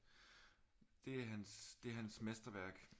Det er hans det er hans mesterværk